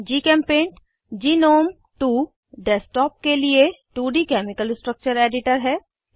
जीचेम्पेंट GNOME 2 desktop के लिए 2डी केमिकल स्ट्रक्चर एडिटर है